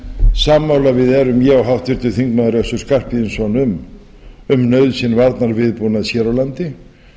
sammála við erum ég og háttvirtur þingmaður össur skarphéðinsson um nauðsyn varnarviðbúnaðar hér á landi